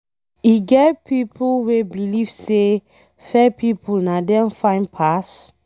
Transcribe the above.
E get pipo wey believe say fair pipo na dem fine pass.